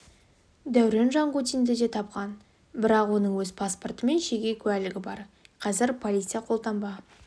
дәурен жангутинді де тапқан бірақ оның өз паспорты мен жеке куәлігі бар қазір полиция қолтаңба